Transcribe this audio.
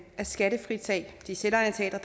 at skattefritage de selvejerteatre